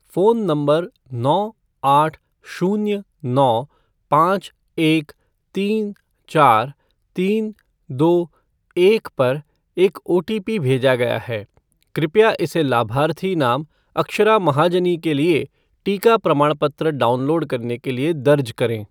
Phone नंबर नौ आठ शून्य नौ पाँच एक तीन चार तीन दो एक पर एक ओटीपी भेजा गया है। कृपया इसे लाभार्थी नाम अक्षरा महाजनी के लिए टीका प्रमाणपत्र डाउनलोड करने के लिए दर्ज करें।